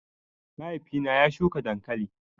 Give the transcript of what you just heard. Mahaifi na ya shuka dankali